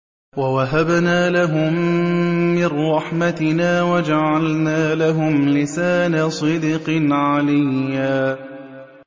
وَوَهَبْنَا لَهُم مِّن رَّحْمَتِنَا وَجَعَلْنَا لَهُمْ لِسَانَ صِدْقٍ عَلِيًّا